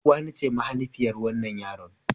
Uwani ce mahanifiyar wannan yaron.